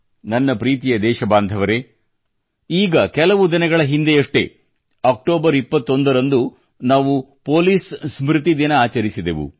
ನನ್ನ ಪ್ರೀತಿಯ ದೇಶಬಾಂಧವರೇ ಈಗ ಕೆಲವು ದಿನಗಳ ಹಿಂದೆಯಷ್ಟೇ ಅಕ್ಟೋಬರ್ 21 ರಂದು ನಾವು ಪೊಲೀಸ್ ಸ್ಮೃತಿ ದಿನ ಆಚರಿಸಿದೆವು